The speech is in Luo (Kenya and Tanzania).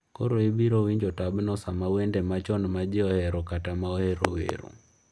Koro ibiro winjo tabno sama wende machon ma ji ohero kata ma ‘ohero’ wero.